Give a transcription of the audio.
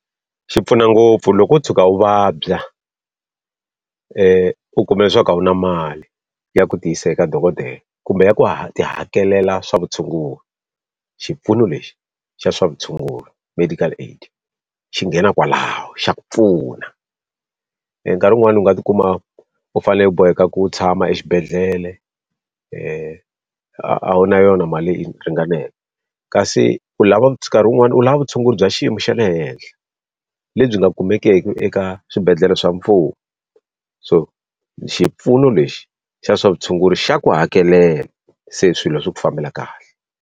Xi pfuna ngopfu loko wo tshuka u vabya u kuma leswaku u na mali ya ku tiyisa eka dokodela kumbe ku ti hakelela swa vutshunguri, xipfuno lexi xa swa vutshunguri medical aid, xi nghena kwalaho xa ku pfuna. nkarhi wun'wani u nga ti kuma u fanele u boheka ku tshama exibedhlele a wu a wu na yona mali leyi ringaneke Kasi u lava nkarhi wun'wana u lava vutshunguri bya xiyimo xa le henhla, lebyi nga kumekeki eka swibedhlele swa mfumo, so xipfuno lexi xa swa vutshunguri xa ku hakelela se swilo swa ku fambela kahle.